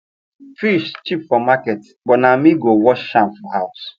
fish cheap for market but na me go wash am for house